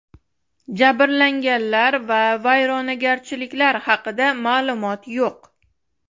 Jabrlanganlar va vayronagarchiliklar haqida ma’lumot yo‘q.